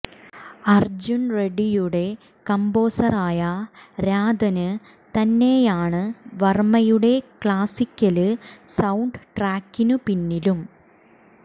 അര്ജുന് റെഡ്ഡിയുടെ കമ്പോസറായ രാധന് തന്നെയാണ് വര്മ്മയുടെ ക്ലാസിക്കല് സൌണ്ട് ട്രാക്കിനു പിന്നിലും